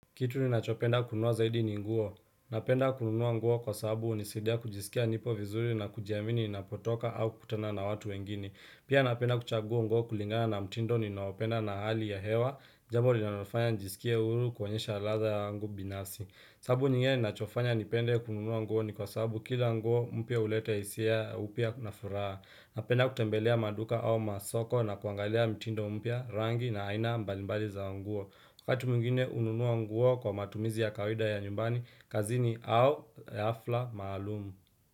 Kitu ninachopenda kununua zaidi ni nguo. Napenda kununua nguo kwa sababu hunisaidia kujisikia nipo vizuri na kujiamini ninapotoka au kukutana na watu wengini. Pia napenda kuchagua nguo kulingana na mtindo ninaopenda na hali ya hewa. Jambo linalofanya nijisikie huru kuonyesha ladha yangu binafsi. Sababu nyingine ninachofanya nipende kununua nguo ni kwa sababu kila nguo mpya hulete hisia au pia na furaha. Napenda kutembelea maduka au masoko na kuangalia mtindo mpya rangi na aina mbalimbali za nguo. Wakati mwingine hununuwa nguo kwa matumizi ya kawaida ya nyumbani, kazini au hafla maalumu.